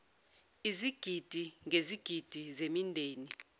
izigidi ngezigidi zemindeni